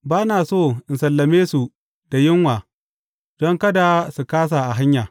Ba na so in sallame su da yunwa, don kada su kāsa a hanya.